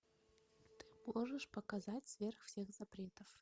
ты можешь показать сверх всех запретов